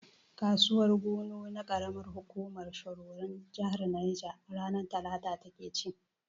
Kasuwar gunu na karamar hukumar shiroron jahar neja, ranar talata ta ke ci.